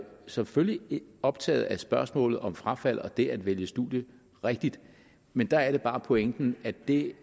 selvfølgelig optaget af spørgsmålet om frafald og det at vælge studium rigtigt men der er det bare pointen at det